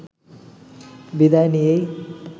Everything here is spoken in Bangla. বিদায় নিয়েই